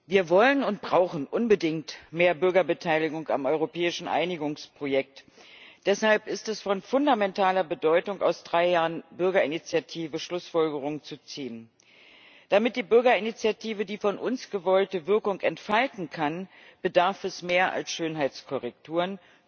Wir wollen und brauchen unbedingt mehr Bürgerbeteiligung am europäischen Einigungsprojekt. Deshalb ist es von fundamentaler Bedeutung, aus drei Jahren Bürgerinitiative Schlussfolgerungen zu ziehen. Damit die Bürgerinitiative die von uns gewollte Wirkung entfalten kann, bedarf es mehr als Schönheitskorrekturen.